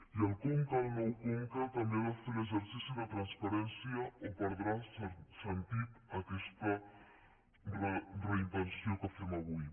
i el conca el nou conca també ha de fer l’exercici de transparència o perdrà sentit aquesta reinvenció que fem avui